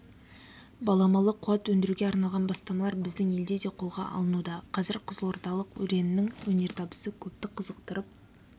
баламалы қуат өндіруге арналған бастамалар біздің елде де қолға алынуда қазір қызылордалық өреннің өнертабысы көпті қызықтырып